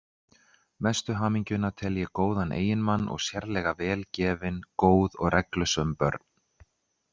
Mestu hamingjuna tel ég góðan eiginmann og sérlega vel gefin, góð og reglusöm börn.